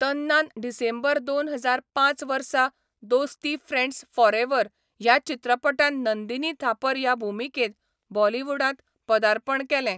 तन्नान December दोन हजार पांच वर्सा 'दोस्ती फ्रेंड्स फॉरएवर' ह्या चित्रपटान नंदीनी थापर ह्या भुमिकेंत बॉलिवूडांत पदार्पण केलें.